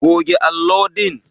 Goge allo din!